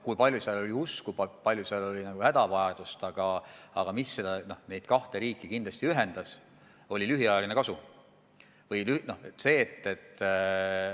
Kui palju seal oli usku, kui palju seal oli hädavajadust – aga mis neid kahte riiki kindlasti ühendas, oli soov saada lühiajalist kasu.